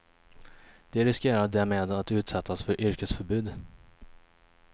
De riskerar därmed att utsättas för yrkesförbud.